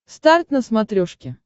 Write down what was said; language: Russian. старт на смотрешке